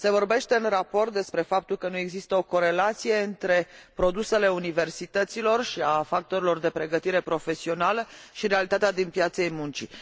Se vorbește în raport despre faptul că nu există o corelație între produsele universităților și ale factorilor de pregătire profesională și realitatea din piața muncii.